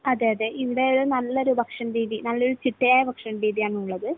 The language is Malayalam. അതെയതെ. ഇവിടെ ഒരു നല്ലൊരു ഭക്ഷണ രീതി നല്ലൊരു ചിട്ടയായ ഭക്ഷണരീതി ആണുള്ളത്.